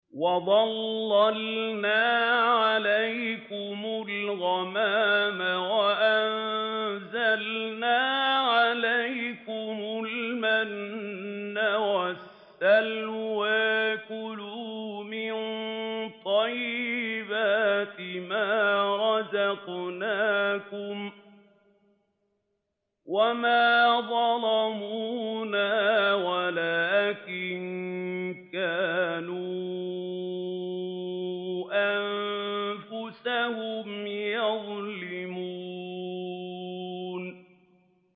وَظَلَّلْنَا عَلَيْكُمُ الْغَمَامَ وَأَنزَلْنَا عَلَيْكُمُ الْمَنَّ وَالسَّلْوَىٰ ۖ كُلُوا مِن طَيِّبَاتِ مَا رَزَقْنَاكُمْ ۖ وَمَا ظَلَمُونَا وَلَٰكِن كَانُوا أَنفُسَهُمْ يَظْلِمُونَ